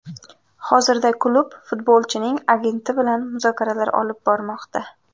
Hozirda klub futbolchining agenti bilan muzokaralar olib bormoqda.